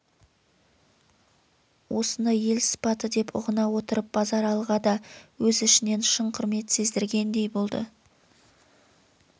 осыны ел сыпаты деп ұғына отырып базаралыға да өз ішінен шын құрмет сездіргендей болды